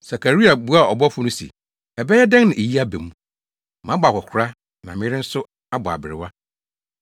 Sakaria buaa ɔbɔfo no se, “Ɛbɛyɛ dɛn na eyi aba mu? Mabɔ akwakoraa na me yere nso abɔ aberewa.”